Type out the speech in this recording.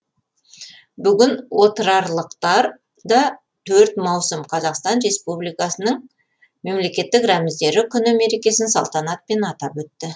бүгін отырарлықтар да төрт маусым қазақстан республикасының мемлекеттік рәміздері күні мерекесін салтанатпен атап өтті